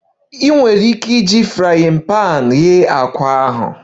Ị nwere ike iji pan frying iji ghee àkwá ahụ